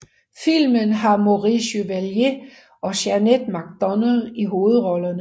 Filmen har Maurice Chevalier og Jeanette MacDonald i hovedrollerne